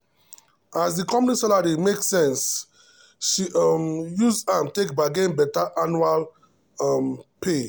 as the company salary make sense um she um use am take bargain better annual um pay.